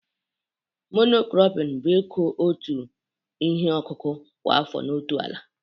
Mono kropịñ bụ ikụ otu ihe ọkụkụ kwa afọ n'otu ala